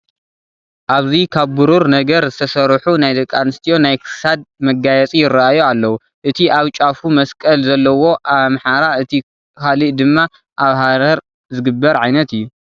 ኣብዚ ካብ ብሩር ነገር ዝተሰርሑ ናይ ደቂ ኣንስትዮ ናይ ክሳድ መጋየፂ ይርአዩ ኣለዉ፡፡ እቲ ኣብ ጫፉ መስቀል ዘለዎ ኣብ ኣምሓራ እቲ ካልእ ድማ ኣብ ሃረር ዝግበር ዓይነት እዩ፡፡